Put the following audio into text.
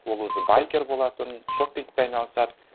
ол өзі байкер болатын шопингпен айналысады